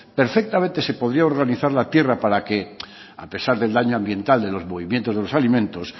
perfectamente se podría organizar la tierra para que a pesar del daño ambiental de los movimientos de los alimentos